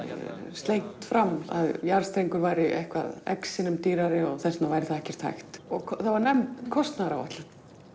slengt fram að jarðstrengur væri eitthvað x sinnum dýrari og þess vegna væri það ekkert hægt það var nefnd kostnaðaráætlun